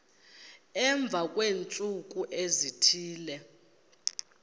emva kweentsuku ezithile